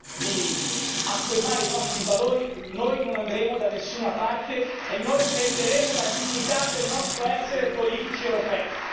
di affermare i nostri valori, noi non andremo da nessuna parte e noi perderemo la dignità del nostro essere politici europei.